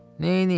Neynəyim?